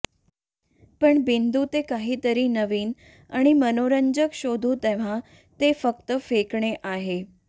पण बिंदू ते काहीतरी नवीन आणि मनोरंजक शोधू तेव्हा ते फक्त फेकणे आहे